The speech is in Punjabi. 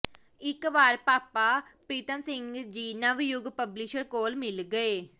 ਇੱਕ ਵਾਰ ਭਾਪਾ ਪ੍ਰੀਤਮ ਸਿੰਘ ਜੀ ਨਵਯੁਗ ਪਬਲਿਸ਼ਰਜ਼ ਕੋਲ ਮਿਲ ਗਏ